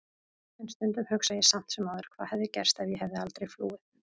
En stundum hugsa ég samt sem áður hvað hefði gerst ef ég hefði aldrei flúið.